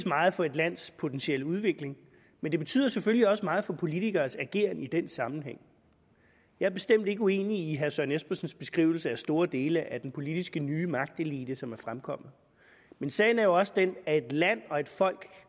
meget for et lands potentielle udvikling men det betyder selvfølgelig også meget for politikeres ageren i den sammenhæng jeg er bestemt ikke uenig i herre søren espersens beskrivelse af store dele af den ny politiske magtelite som er fremkommet men sagen er jo også den at et land og et folk